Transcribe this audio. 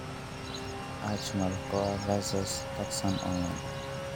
Arch Mal Coeur Vaiss [taxane online].